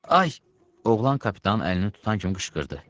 Ay, oğlan kapitanın əlini tutan kimi qışqırdı.